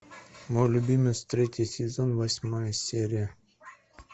мой любимец третий сезон восьмая серия